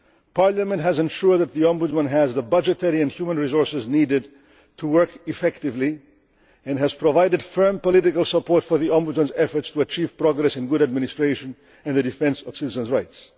Parliament has ensured that the Ombudsman has the budgetary and human resources needed to work effectively and has provided firm political support for the Ombudsman's efforts to achieve progress and good administration in the defence of citizens' rights.